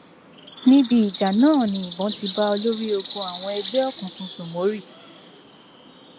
níbi ìjà náà ni ìbọn ti bá olórí ogun àwọn ẹgbẹ òkùnkùn sómórì